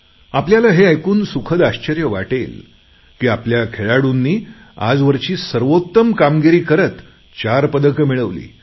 आपल्याला हे ऐकून सुखद आश्चर्य वाटेल की आपल्या खेळाडूंनी आजवरची सर्वोत्तम कामगिरी करत चार पदके मिळवली